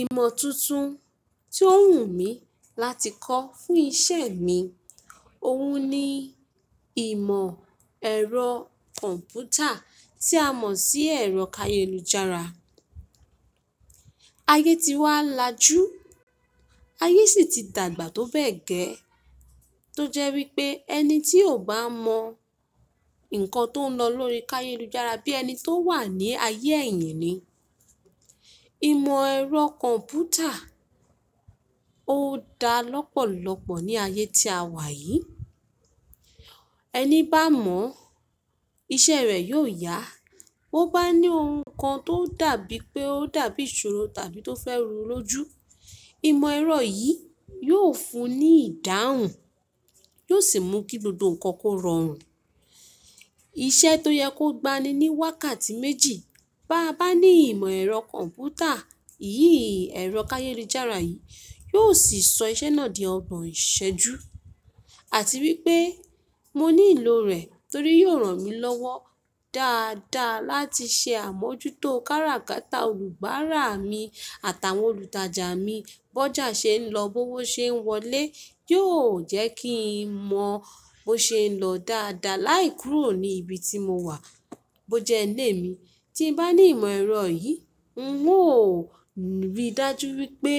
Ìmọ̀ tuntun tí ó wù mí láti kọ́ fún ìṣe mi, òun ni ìmọ̀ ẹ̀rọ kọ̀ǹpútà tí a mọ̀ sí ẹ̀rọ kayélujára. Ayé ti wá lajú, ayé sì ti dàgbà tó bẹ́ẹ̀ gẹ́, tó jẹ́ wípé ẹni tí ò bá mọ nǹkan tó ń lọ lórí kayélujára bí ẹni tó wà ní ayé èyìn ni. Ìmọ̀ ẹ̀rọ kọ̀ǹpútà ò dá lọ́pọ̀lọ́pọ̀ ní ayé tí a wà yìí. Ẹni bá mọ̀, iṣẹ́ rẹ̀ yóò yá. Ó bá ní ohun kan tó dàbí pé ó dàbí ìṣòro tàbí tó fẹ́ ro lóju, ìmọ̀ ẹ̀rọ yìí yóò fún un ní ìdáhùn, yóò sì mú kí gbogbo nǹkan kó rọrùn. Iṣẹ́ tó yẹ kó gba ni ní wákàtí méjì, bá a bá ní ìmọ̀ ẹ̀rọ kọ̀ǹpútà, iyìí ẹ̀rọ kayélujára yìí, yóò sì sọ iṣẹ́ náà di ọgbọn ìṣẹ́jú. Àti wípé mo ní ìlò rẹ̀ torí yóò ràn mí lọ́wọ́ dáadáa láti ṣe àmójútó káràkátà olùbáa-ra mi àtàwọn olùtajà mi. Bọ́jà ṣe ń lọ, bówó ṣe ń wọlé, yóò jẹ́ kí n mọ bó ṣe ń lọ dáadáa láìkúrò ní ibi tí mo wà, bó jẹ ilèmi. Tí n bá ní ìmọ̀ ẹ̀rọ yìí, ùn ó rí i dájú wípé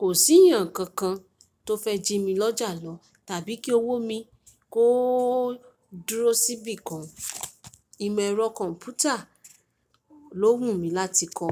kò sí èèyàn kankan tó fẹ́ jí mi lọ́jà lọ tàbí kí owó mi kó dúró síbi kan. Ìmọ̀ ẹ̀rọ kọ̀ǹpútà ló wù mí láti kọ́.